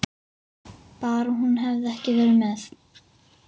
Bara hún hefði ekki verið með.